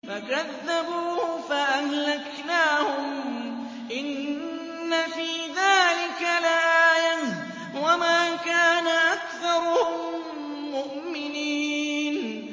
فَكَذَّبُوهُ فَأَهْلَكْنَاهُمْ ۗ إِنَّ فِي ذَٰلِكَ لَآيَةً ۖ وَمَا كَانَ أَكْثَرُهُم مُّؤْمِنِينَ